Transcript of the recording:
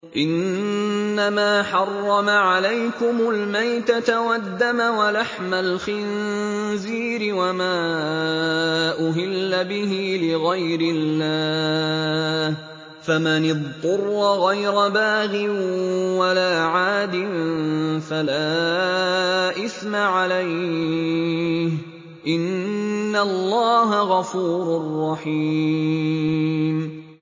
إِنَّمَا حَرَّمَ عَلَيْكُمُ الْمَيْتَةَ وَالدَّمَ وَلَحْمَ الْخِنزِيرِ وَمَا أُهِلَّ بِهِ لِغَيْرِ اللَّهِ ۖ فَمَنِ اضْطُرَّ غَيْرَ بَاغٍ وَلَا عَادٍ فَلَا إِثْمَ عَلَيْهِ ۚ إِنَّ اللَّهَ غَفُورٌ رَّحِيمٌ